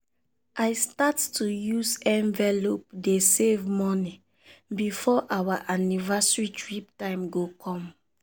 i start to use envelope dey save money before our anniversary trip time go come